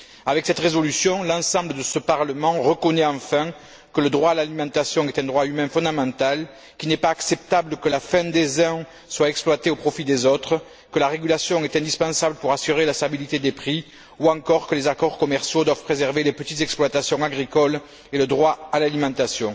Avec cette résolution, l'ensemble de ce Parlement reconnaît enfin que le droit à l'alimentation est un droit humain fondamental, qu'il n'est pas acceptable que la faim des uns soit exploitée au profit des autres, que la régulation est indispensable pour assurer la stabilité des prix ou encore que les accords commerciaux doivent préserver les petites exploitations agricoles et le droit à l'alimentation.